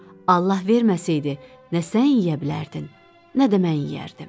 Allah verməsəydi, nə sən yeyə bilərdin, nə də mən yeyərdim.